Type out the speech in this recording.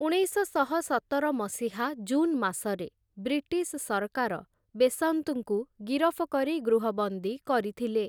ଉଣେଇଶଶହ ସତର ମସିହା ଜୁନ୍‌ ମାସରେ ବ୍ରିଟିଶ୍‌ ସରକାର ବେସନ୍ତ୍‌ଙ୍କୁ ଗିରଫ କରି ଗୃହବନ୍ଦୀ କରିଥିଲେ ।